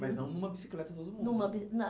Mas não numa bicicleta todo mundo. Numa bi na